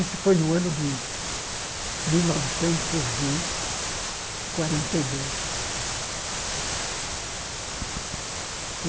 Isso foi no ano de mil novecentos e quarenta e dois.